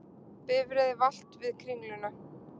Bifreið valt við Kringluna